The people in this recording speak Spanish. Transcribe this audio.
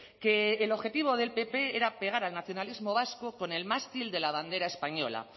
que el objetivo del pp era pegar al nacionalismo vasco con el mástil de la bandera española